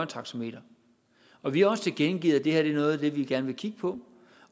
taxameter og vi har også tilkendegivet at det her er noget af det vi gerne vil kigge på